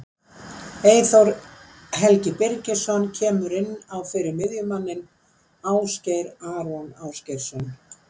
Eyþór Helgi Birgisson kemur inn á fyrir miðjumanninn Ásgeir Aron Ásgeirsson.